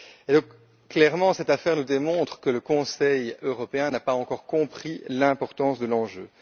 Et donc, clairement, cette affaire nous démontre que le Conseil européen n'a pas encore compris l'importance de l'enjeu.